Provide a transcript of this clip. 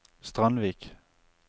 Strandvik